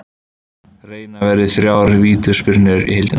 Reina varði þrjár vítaspyrnur í heildina.